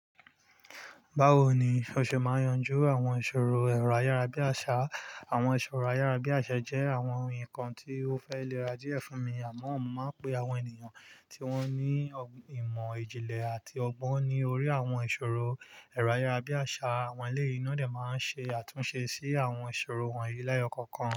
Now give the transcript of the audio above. Báwo ni òṣe máa yanjú àwọn ìṣòro ẹ̀rọ ayárabíàṣá? Àwọn ìṣòro ayárabíàṣá jẹ́ àwọn nkan tí ó fẹ́ lè ra díẹ̀ fún mi, àmọ́ mo máa pe àwọn ènìyàn tí wọ́n ní ìmọ̀ ìjìnlẹ̀ àti ọgbọ́n ní orí àwọn ìṣòro ẹ̀rọ ayárabíàṣá. Àwọn eléyii ni won de máa ń ṣe àtúnṣe sí àwọn ìṣòro wọ̀nyí leeyò kankan.